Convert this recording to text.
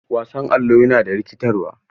Wasan Allo yana da rikitarwa.